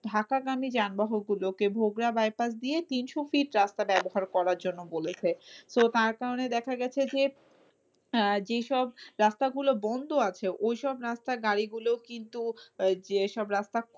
থাকা গামী যানবাহন গুলোকে ভোগড়া bypass দিয়ে করার জন্য বলেছে। তো তার কারনে দেখা গেছে যে, আহ যেসব রাস্তা গুলো বন্ধ আছে ওইসব রাস্তা গাড়িগুলো কিন্তু আহ যেসব রাস্তা